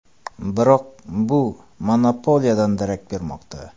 Biroq bu monopoliyadan darak bermoqda.